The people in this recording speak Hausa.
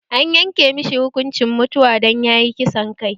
An yanke mashi hukuncin mutuwa dan yayi kisan kai